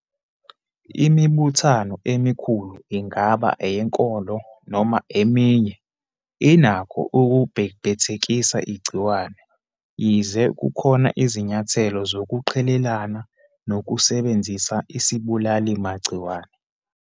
Imibuthano emikhulu, ingaba eyenkolo noma eminye, inakho ukubhebhethekisa igciwane, yize kukhona izinyathelo zokuqhelelana nokusebenzisa isibulalimagciwane.